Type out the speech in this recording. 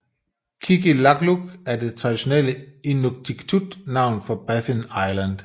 Qikiqtaaluk er det traditionelle inuktitut navn for Baffin Island